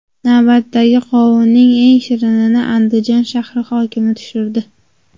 Navbatdagi qovunning eng shirinini Andijon shahri hokimi tushirdi.